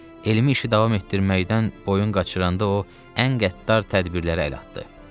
Elmi işi davam etdirməkdən boyun qaçıranda o, ən qəddar tədbirlərə əl atdı.